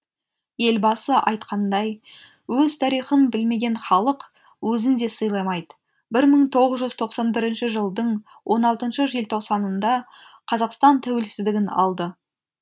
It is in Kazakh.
елбасы айтқандай өз тарихын білмеген халық өзін де сыйламайды бір мың тоғыз жүз тоқсан бірінші жылдың он алтыншы желтоқсанында қазақстан тәуелсіздігін алды